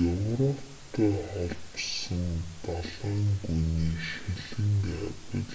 европтой холбосон далайн гүний шилэн кабель